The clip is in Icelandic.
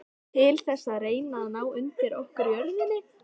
Til þess að reyna að ná undir okkur jörðinni?